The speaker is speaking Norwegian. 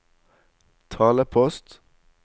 talepost